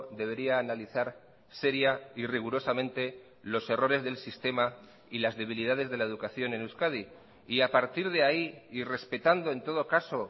debería analizar seria y rigurosamente los errores del sistema y las debilidades de la educación en euskadi y a partir de ahí y respetando en todo caso